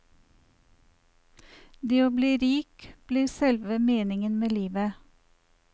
Det å bli rik blir selve meningen med livet.